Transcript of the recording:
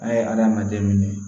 A ye hadamaden minɛ